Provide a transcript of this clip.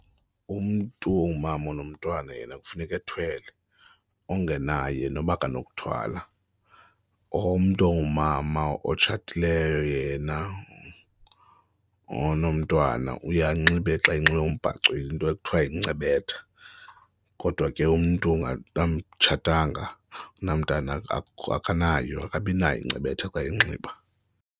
Umntu ongumama onomntwana yena kufuneka ethwele, ongenaye noba akanokuthwala. Umntu ongumama otshatileyo yena onomntwana uye anxibe xa enxibe umbhaco into ekuthiwa yincebetha kodwa ke umntu angatshatanga anamntana akanayo, akabi nayo incebetha xa inxiba.